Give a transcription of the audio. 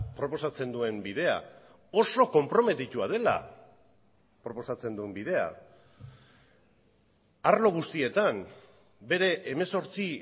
proposatzen duen bidea oso konprometitua dela proposatzen duen bidea arlo guztietan bere hemezortzi